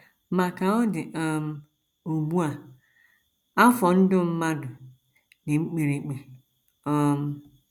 Ma, ka ọ dị um ugbu a, afọ ndụ mmadụ dị mkpirikpi. um